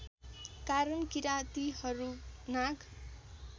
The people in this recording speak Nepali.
कारण किरातीहरू नाग